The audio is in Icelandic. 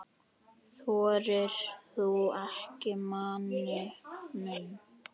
Þorir þú ekki, manni minn?